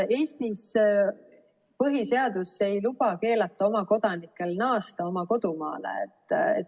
Eestis põhiseadus ei luba keelata oma kodanikel naasta kodumaale.